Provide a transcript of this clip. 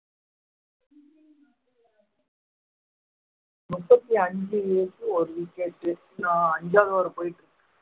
முப்பத்தி அஞ்சுக்கு ஒரு wicket ஆ அஞ்சாவது over போயிட்டு இருக்கு